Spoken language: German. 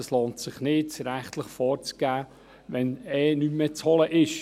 Es lohnt sich nicht, rechtlich vorzugehen, wenn sowieso nichts mehr zu holen ist.